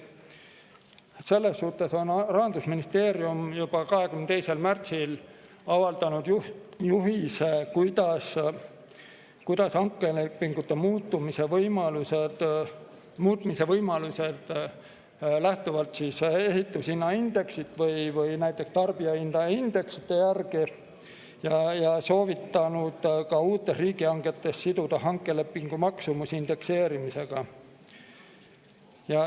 Selles suhtes Rahandusministeerium juba 22. märtsil avaldas juhise hankelepingute muutmise võimaluste kohta lähtuvalt ehitushinnaindeksist või näiteks tarbijahinnaindeksist, ja soovitas ka uutes riigihangetes siduda hankelepingu maksumuse indekseerimisega.